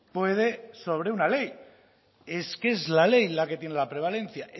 puede sobre una ley es que es la ley la que tiene la prevalencia